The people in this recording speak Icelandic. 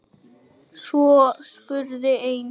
Svo spurði einn